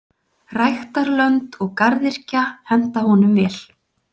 Ræktarlönd og garðyrkja henta honum vel.